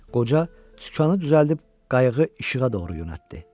Qoca sükanı düzəldib qayığı işığa doğru yönəltdi.